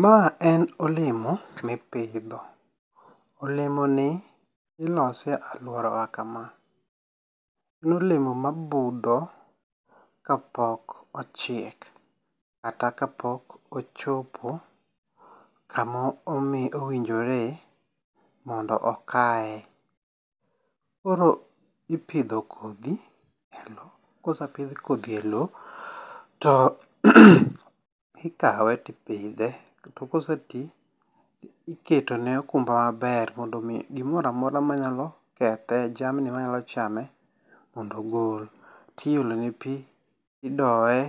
Ma en olemo mipidho. Olemo ni ilose e aluora wa kama. En olemo ma budho kapok ochiek kata ka pok ochopo kama owinjore mondo okaye. Koro ipidho kodhi e lo. Kose pidh kodhi e lo ro ikawe to ipidhe. To kose ti iketo ne okumba maber mondo mi gimoro amora manyalo kethe jamni manyalo chame mondo ogol. Tiolo ne pi, idoye.